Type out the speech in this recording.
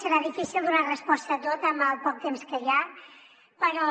serà difícil donar resposta a tot amb el poc temps que hi ha però